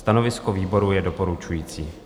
Stanovisko výboru je doporučující.